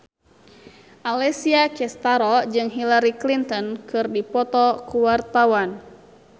Alessia Cestaro jeung Hillary Clinton keur dipoto ku wartawan